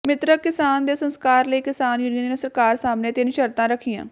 ਮਿ੍ਤਕ ਕਿਸਾਨ ਦੇ ਸੰਸਕਾਰ ਲਈ ਕਿਸਾਨ ਯੂਨੀਅਨ ਨੇ ਸਰਕਾਰ ਸਾਹਮਣੇ ਤਿੰਨ ਸ਼ਰਤਾਂ ਰੱਖੀਆਂ